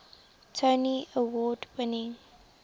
tony award winning